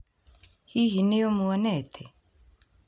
Hi hi ni ũmuonete?